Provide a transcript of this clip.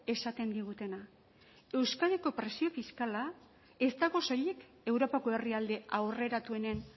esaten digutena euskadiko presio fiskala ez dago soilik europako herrialde aurreratuenen